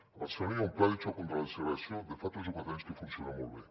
a barcelona hi ha un pla de xoc contra la segregació de fa tres o quatre anys que funciona molt bé